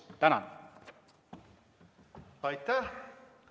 Aitäh!